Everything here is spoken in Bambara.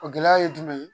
O gɛlɛya ye jumɛn ye